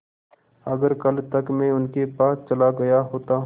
अगर कल तक में उनके पास चला गया होता